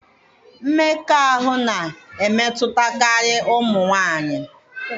Mmekọahụ na-emetụtakarị ụmụ nwanyị.